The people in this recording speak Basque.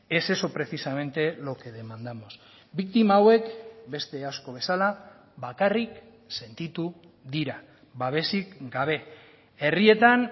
es eso precisamente lo que demandamos biktima hauek beste asko bezala bakarrik sentitu dira babesik gabe herrietan